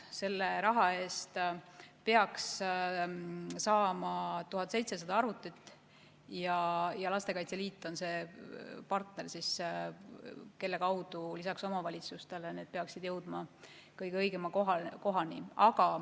Selle raha eest peaks saama 1700 arvutit ja Eesti Lastekaitse Liit on see partner, kelle kaudu omavalitsuste kaasabil need arvutid peaksid jõudma kõige õigemasse kohta.